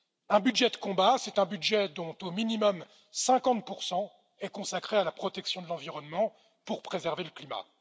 Un budget de combat, c'est un budget dont au minimum 50 sont consacrés à la protection de l'environnement pour préserver le climat.